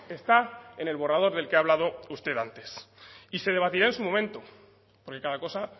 está en el borrador del que ha hablado usted antes y se debatirá en su momento porque cada cosa